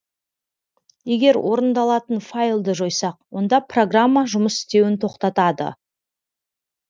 егер орындалатын файлды жойсақ онда программа жұмыс істеуін тоқтатады